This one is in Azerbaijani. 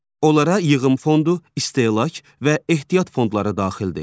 Onlara yığım fondu, istehlak və ehtiyat fondları daxildir.